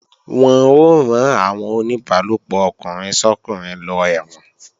Wọ́n ó rán àwọn oníbálòpọ̀ ọkùnrin sọ́kùnrin lọ ẹ̀wọ̀n